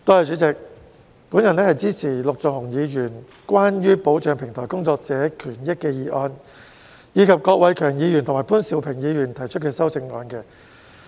主席，我支持陸頌雄議員提出"保障平台工作者的權益"的議案，以及郭偉强議員及潘兆平議員提出的修正案。